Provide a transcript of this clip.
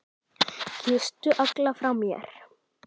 Kysstu alla frá mér.